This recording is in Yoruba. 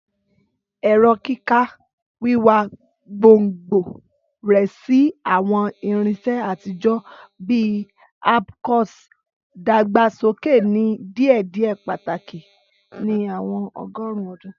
Ẹrọ kika, wiwa gbongbo rẹ si awọn irinṣẹ atijọ bi abcùs, dagbasoke ni diėdiė pataki ni awọn ọgọrun ọdun.